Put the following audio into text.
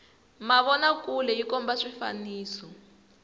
mavona kule yi komba swifaniso